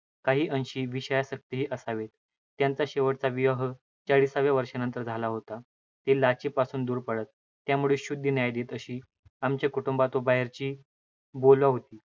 काही अंशी विषयासक्तही असावेत. त्यांचा शेवटचा विवाह चाळिसाव्या वर्षानंतर झाला होता. ते लाचेपासून दूर पळत, त्यामुळे शुद्ध न्याय देत अशी आमच्या कुटुंबात व बाहेरही बोलवा होती.